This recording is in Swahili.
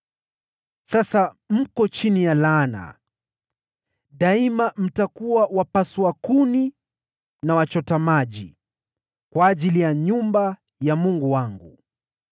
Sasa mko chini ya laana: Daima mtakuwa wapasua kuni na wachota maji kwa ajili ya nyumba ya Mungu wangu.”